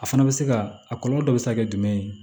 A fana bɛ se ka a kɔlɔlɔ dɔ bɛ se ka kɛ jumɛn ye